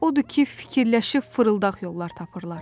Odur ki, fikirləşib fırıldaq yollar tapırlar.